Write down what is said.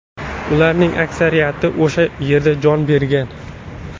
Ularning aksariyati o‘sha yerda jon bergan.